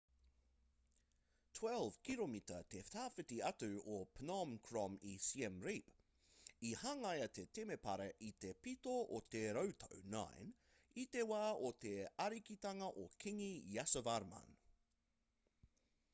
12 kiromita te tawhiti atu o phnom krom i siem reap i hangaia te temepara i te pito o te rautau 9 i te wā o te arikitanga o kīngi yasovarman